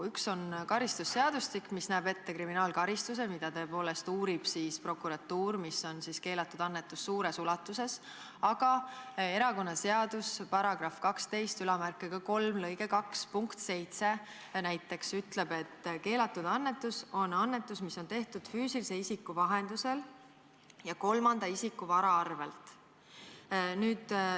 Üks on karistusseadustik, mis näeb ette kriminaalkaristuse, mida tõepoolest uurib prokuratuur, mis on siis keelatud annetus suures ulatuses, aga näiteks erakonnaseaduse § 123 lõike 2 punkt 7 ütleb, et keelatud annetus on annetus, mis on tehtud füüsilise isiku vahendusel ja kolmanda isiku vara arvelt.